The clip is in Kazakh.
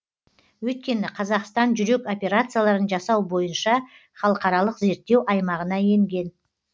өйткені қазақстан жүрек операцияларын жасау бойынша халықаралық зерттеу аймағына енген